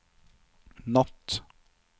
natt